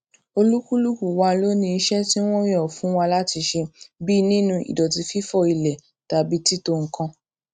olúkúlùkù wa ló ní iṣé tí wón yàn fún wa láti ṣe bíi nínu ìdọtí fífọ ilè tàbí títò nǹkan